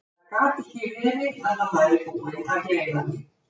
Það gat ekki verið að hann væri búinn að gleyma því.